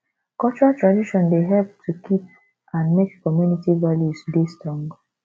cultural tradion dey help to keep and make community values dey strong